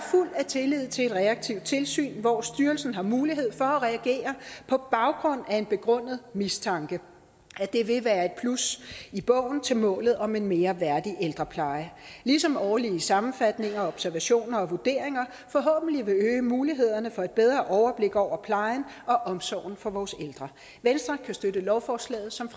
af tillid til et reaktivt tilsyn hvor styrelsen har mulighed for at reagere på baggrund af en begrundet mistanke og at det vil være et plus i bogen til målet om en mere værdig ældrepleje ligesom årlige sammenfatninger observationer og vurderinger forhåbentlig vil øge mulighederne for et bedre overblik over plejen og omsorgen for vores ældre venstre kan støtte lovforslaget som